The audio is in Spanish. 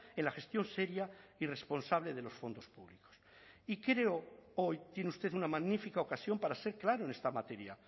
en la gestión seria y responsable de los fondos públicos y creo hoy tiene usted una magnífica ocasión para ser claro en esta materia